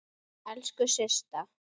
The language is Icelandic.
Elsku Systa!